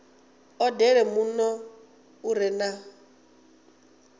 odele muno u re na